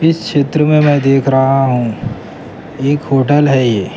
اس چتر میں میں دیکھ رہا ہوں ایک ھوٹل ہے یہ--